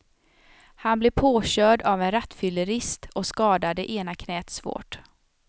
Han blev påkörd av en rattfyllerist och skadade ena knäet svårt.